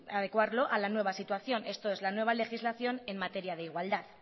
adecuarlo a la nueva situación esto es la nueva legislación en materia de igualdad